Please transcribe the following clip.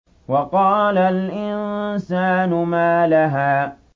وَقَالَ الْإِنسَانُ مَا لَهَا